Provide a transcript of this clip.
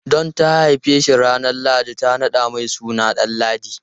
Don ta haife shi ranar lahadi, ta naɗa mai suna Danladi.